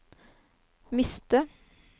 miste